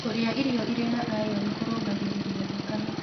Kũrĩa irio ĩrĩ na ĩron kũrũngagĩrĩrĩa thakame